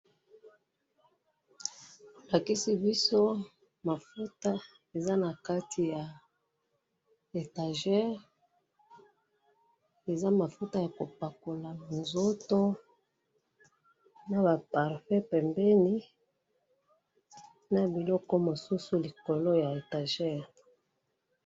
Lakisi biso mafuta eza na kati ya étagere eza mafuta ya kopakola nzoto na ba parfum pembeni na biloko mosusu likolo ya étagere.